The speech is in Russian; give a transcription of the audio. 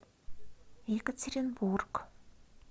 екатеринбург